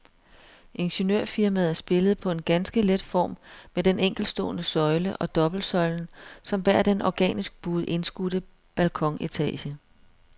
Ingeniørfirmaet spillede på en ganske let form med den enkeltstående søjle og dobbeltsøjlen som bærer den organisk buede indskudte balkonetage.